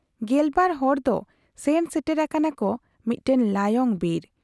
ᱜᱮᱞᱵᱟᱨ ᱦᱚᱲ ᱫᱚ ᱥᱮᱱ ᱥᱮᱴᱮᱨ ᱟᱠᱟᱱᱟ ᱠᱚ ᱢᱤᱫᱴᱟᱹᱝ ᱞᱟᱭᱚᱝ ᱵᱤᱨ ᱾